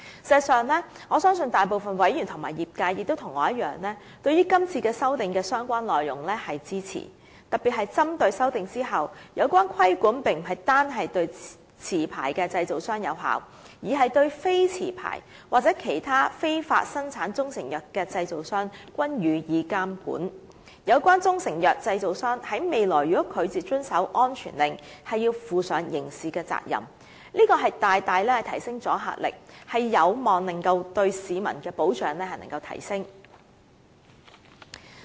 事實上，我相信大部分委員和業界人士與我一樣，對這次修訂的相關內容是支持的，特別是針對在修訂後，有關規管並不是單單對持牌製造商有效，而是對非持牌或其他非法生產中成藥的製造商均施以監管，有關中成藥製造商在未來如拒絕遵守安全令，須負上刑事責任，這大大提升阻嚇力，有望提升對市民的保障。